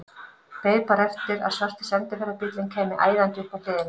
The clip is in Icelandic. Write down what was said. Beið bara eftir að svarti sendiferðabíllinn kæmi æðandi upp að hliðinni.